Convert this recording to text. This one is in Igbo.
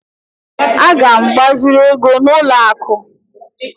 Aga m agbaziri ego n'ụlọ akụ